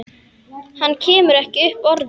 Hann kemur ekki upp orði.